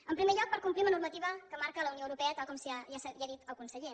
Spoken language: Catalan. en primer lloc per complir amb la normativa que marca la unió europea tal com ja ha dit el conseller